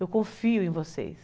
Eu confio em vocês.